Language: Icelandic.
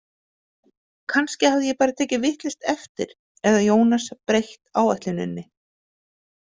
Kannski hafði ég bara tekið vitlaust eftir eða Jónas breytt áætluninni.